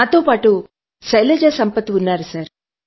నాతో పాటు శైలజా సంపత్ ఉన్నారు